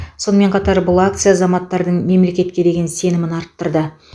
сонымен қатар бұл акция азаматтардың мемлекетке деген сенімін арттырды